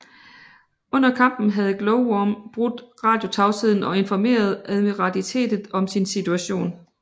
Under kampen havde Glowworm brudt radiotavsheden og informeret admiralitetet om sin situation